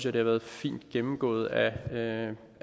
er blevet fint gennemgået af